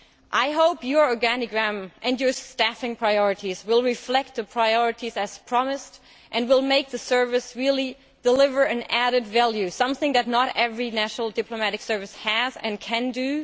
I hope your establishment plan and your staffing priorities will reflect the priorities as promised and will make the service really deliver added value something that not every national diplomatic service has, and can do.